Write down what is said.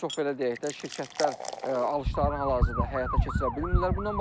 Bir çox belə deyək də, şirkətlər alışlarını hal-hazırda həyata keçirə bilmirlər.